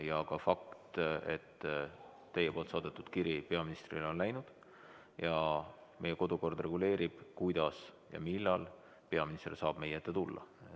Ja fakt on ka, et teie saadetud kiri peaministrile on läinud ja meie kodukord reguleerib, kuidas ja millal peaminister saab meie ette tulla.